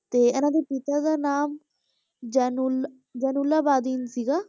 ਤੇ ਇਹਨਾਂ ਦੇ ਪਿਤਾ ਦਾ ਨਾਮ ਜੈਨੁਲ~ ਜੈਨੁਲਾਬਦੀਨ ਸੀਗਾ,